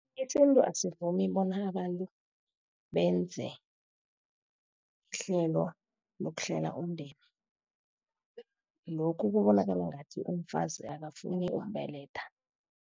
Isintu asivumi bona abantu benze ihlelo lokuhlela umndeni, lokhu kubonakala ngathi umfazi akafuni ukubeletha.